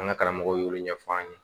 An ka karamɔgɔw y'olu ɲɛfɔ an ye